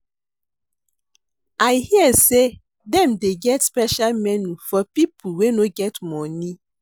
I hear sey dem dey get special menu for pipo wey no get moni.